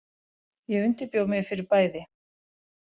Ég undirbjó mig fyrir bæði.